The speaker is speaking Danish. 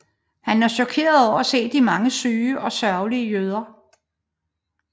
Han er chokeret over at se de mange syge og sørgelige jøder